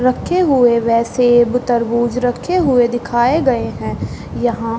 रखे हुए व सेब तरबूज रखे हुए दिखाए गए हैं यहाँ --